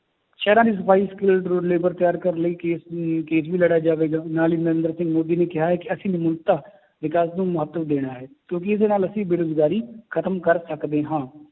ਸ਼ਹਿਰਾਂ ਦੀ ਸਫ਼ਾਈ skilled labour ਤਿਆਰ ਕਰਨ ਲਈ case ਅਮ case ਵੀ ਲੜਿਆ ਜਾਵੇਗਾ ਨਾਲ ਹੀ ਨਿਰੇਂਦਰ ਸਿੰਘ ਮੋਦੀ ਨੇ ਕਿਹਾ ਹੈ ਕਿ ਅਸੀਂ ਵਿਕਾਸ ਨੂੰ ਮਹੱਤਵ ਦੇਣਾ ਹੈ ਕਿਉਂਕਿ ਇਹਦੇ ਨਾਲ ਅਸੀਂ ਬੇਰੁਜ਼ਗਾਰੀ ਖਤਮ ਕਰ ਸਕਦੇ ਹਾਂ